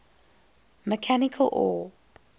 mechanical or